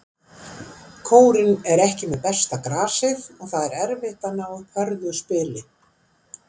Kórinn er ekki með besta grasið og það er erfitt að ná upp hröðu spili.